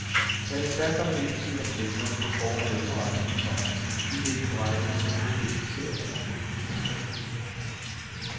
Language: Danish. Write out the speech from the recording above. Jeg er desværre kommet lidt i tvivl om priserne på for og mellemretterne, komma idet de på regningen kun blev specificeret med numre. punktum